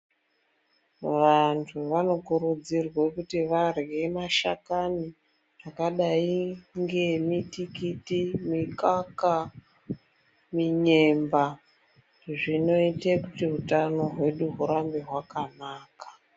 Vantu vanokuridzirwa kuti varye mashakani akadai ngeemutikiti mungaka munyemba zinoite kuti hutano hwedu hurambe hwakanaka.